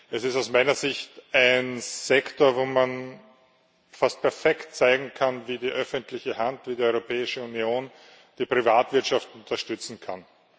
Es ist aus meiner Sicht ein Sektor, wo man fast perfekt zeigen kann, wie die öffentliche Hand, wie die Europäische Union die Privatwirtschaft unterstützen kann.